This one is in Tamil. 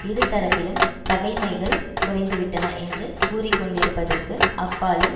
இருதரப்பிலும் பகைமைகள் குறைந்து விட்டன என்று கூறி கொண்டிருப்பதற்கு அப்பாலும்